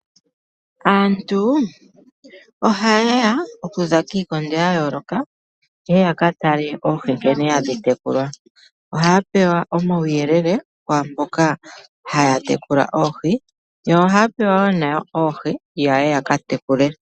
Aantu ohaye ya okuza kiikondo ya yooloka, ye ye ya ka tale oohi nkene hadhi tekulwa. Ohaya pewa omauyelele kwaamboka haya tekula oohi. Yo ohaya pewa wo oohi ya ye nadho ya ka tekule.